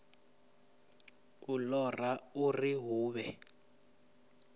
u ṱoḓa uri hu vhe